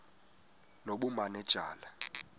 nobumanejala